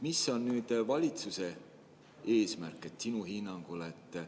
Mis on valitsuse eesmärk sinu hinnangul?